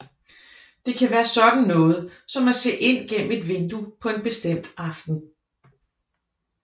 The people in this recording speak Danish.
Det kan være sådan noget som at se ind gennem et vindue på en bestemt aften